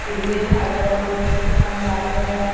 हिरवे झाड वगैरे खूप छान लागलेले आहेत.